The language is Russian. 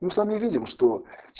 мы сами видим что